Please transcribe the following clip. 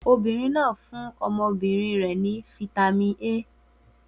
Obìnrin náà fún ọmọbìnrin rẹ̀ ní fataímìn A.